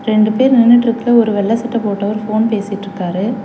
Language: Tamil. ரெண்டு பேர் நின்னுட்டுருக்கு ஒரு வெள்ள சட்ட போட்டவர் ஃபோன் பேசிட்ருக்காரு.